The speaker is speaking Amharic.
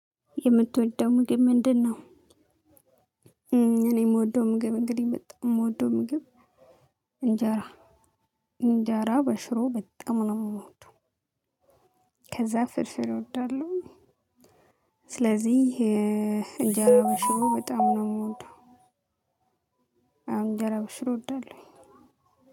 የምትወደው ምግብ ምንድነው? እኔ የምወደው ምግብ እንግዲህ በጣም የምወደው ምግብ እንጀራ እንጀራ በሽሮ በጣም ነው የምወደው። ከዛ ፍርፍር እወዳለሁ። ስለዚህ እንጀራ በሽሮ በጣም ነው የምወደው። አዎ እንጀራ በሽሮ እወዳለሁ።